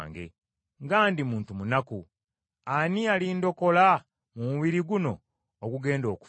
Nga ndi muntu munaku! Ani alindokola mu mubiri guno ogugenda okufa?